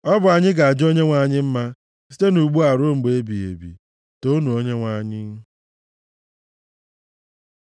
ọ bụ anyị ga-aja Onyenwe anyị mma, site ugbu a ruo mgbe ebighị ebi. Toonu Onyenwe anyị.